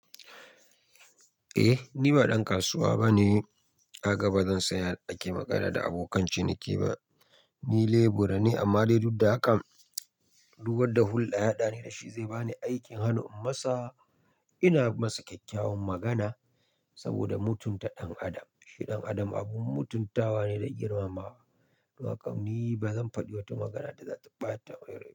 Eh ni ba dan kasuwa bane ka gaba zan saya ake magana da abokan ciniki ba. Ni lebura ne amma dai duk da hakan dubar da hulda yaɗa ni da shi zai bani aikin hannun masa. Ina masa kyakkyawan magana saboda mutunta ɗan adam. Shi ɗan adam abun mutuntawa ne da girmamawa. Nawa kauni ba zan faɗi wata magana da zata ɓata wayarwa.